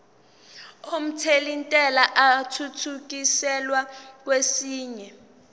omthelintela athuthukiselwa kwesinye